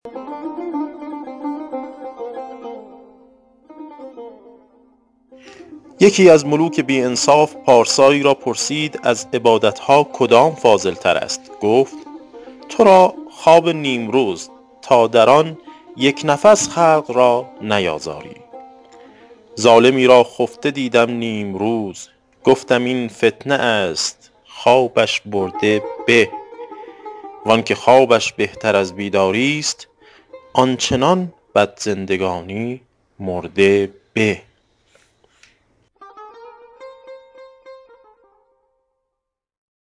یکی از ملوک بی انصاف پارسایی را پرسید از عبادت ها کدام فاضل تر است گفت تو را خواب نیمروز تا در آن یک نفس خلق را نیازاری ظالمی را خفته دیدم نیمروز گفتم این فتنه است خوابش برده به وآنکه خوابش بهتر از بیداری است آن چنان بد زندگانی مرده به